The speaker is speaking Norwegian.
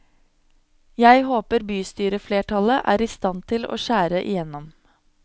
Jeg håper bystyreflertallet er i stand til å skjære igjennom.